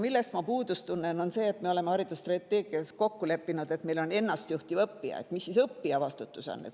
Millest ma natukene puudust tunnen, on see, et kuna me oleme haridusstrateegias kokku leppinud, et meil on ennast juhtiv õppija, siis mis see õppija vastutus on.